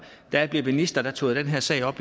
da jeg blev minister tog jeg den her sag op